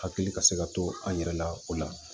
Hakili ka se ka to an yɛrɛ la o la